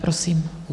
Prosím.